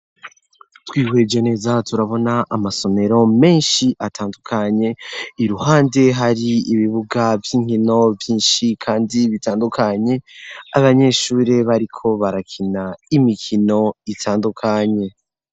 Twihweje neza turabona amasomero menshi atandukanye iruhande hari ibibuga vy'inkino vyinshi, kandi bitandukanye abanyeshuri bariko barakina imikino itandukanye.